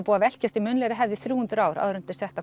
búið að velkjast í munnlegri hefð í þrjú hundruð ár áður en þetta